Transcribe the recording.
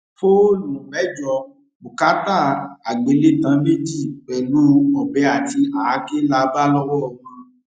fóònù mẹjọ bùkátà àgbélétàn méjì pẹlú ọbẹ àti àáké la bá lọwọ wọn